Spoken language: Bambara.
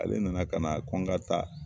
Ale nana ka na ko n ka taa.